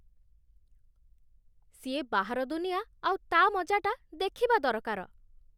ସିଏ ବାହାର ଦୁନିଆ ଆଉ ତା' ମଜାଟା ଦେଖିବା ଦରକାର ।